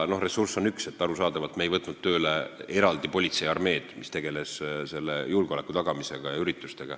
Ressurss on üks, arusaadavalt ei võtnud me tööle eraldi politseiarmeed, mis oleks tegelenud eesistumise üritustel julgeoleku tagamisega.